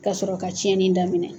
Ka sɔrɔ ka tiɲɛni daminɛ.